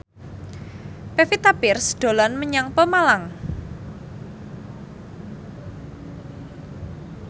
Pevita Pearce dolan menyang Pemalang